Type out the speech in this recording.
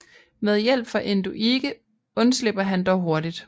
Med hjælp fra Enduige undslipper han dog hurtigt